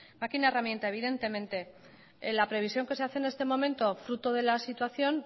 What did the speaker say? maquina herramienta evidentemente en la previsión que se hace en este momento fruto de la situación